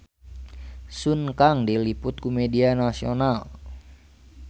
Sun Kang diliput ku media nasional